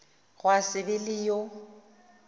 gwa se be le yo